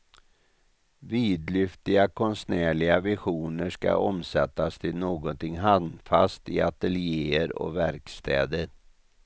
Vidlyftiga konstnärliga visioner skall omsättas till någonting handfast i ateljéer och verkstäder.